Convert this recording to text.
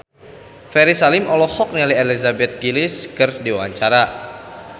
Ferry Salim olohok ningali Elizabeth Gillies keur diwawancara